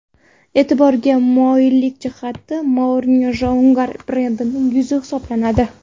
E’tiborga molik jihati, Mourinyo Jaguar brendining yuzi hisoblanadi.